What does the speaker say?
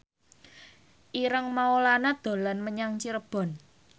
Ireng Maulana dolan menyang Cirebon